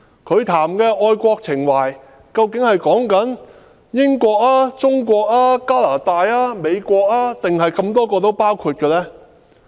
他們所說的愛國情懷，究竟是指英國、中國、加拿大、美國或全部都包括在內？